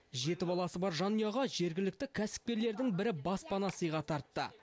жеті баласы бар жанұяға жергілікті кәсіпкерлердің бірі баспана сыйға тартты